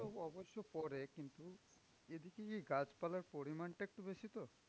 তো অবশ্য পরে কিন্তু এদিকে যে গাছপালার পরিমাণটা একটু বেশি তো।